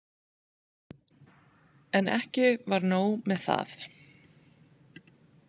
En ekki var nóg með það.